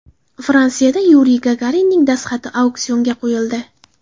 Fransiyada Yuriy Gagarinning dastxati auksionga qo‘yildi.